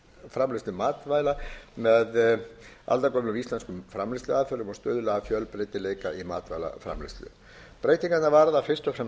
framleiðslu matvæla með aldagömlum íslenskum framleiðsluaðferðum og stuðla að fjölbreytileika í matvælaframleiðslu breytingarnar varða fyrst og fremst aðbúnað